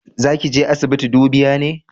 Za ki je asibiti dubiya ne?